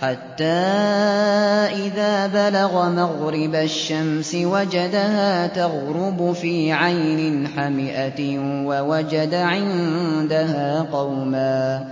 حَتَّىٰ إِذَا بَلَغَ مَغْرِبَ الشَّمْسِ وَجَدَهَا تَغْرُبُ فِي عَيْنٍ حَمِئَةٍ وَوَجَدَ عِندَهَا قَوْمًا ۗ